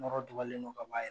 Nɔrɔ dugalen don ka ba ye